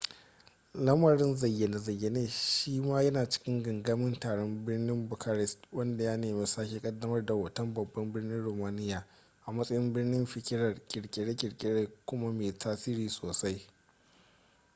lamarin zayyane-zayyane shi ma yana cikin gangamin taron birnin bucharest wanda ya nemi sake kaddamar da hoton babban birnin romania a matsayin birnin fikirar kirkire-kirkire kuma mai tasiri sosai